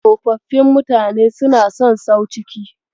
Tsofaffin mutane suna son sau ciki.